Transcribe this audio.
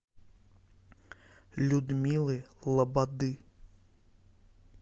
людмилы лободы